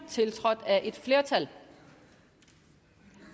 tiltrådt af et flertal